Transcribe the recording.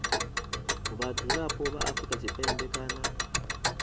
vhadzulapo vha afrika tshipembe kana